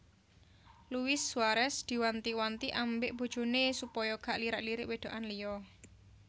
Luis Suarez diwanti wanti ambek bojone supaya gak lirak lirik wedokan liya